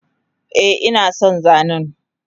Eh inason zanen